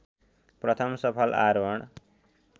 प्रथम सफल आरोहण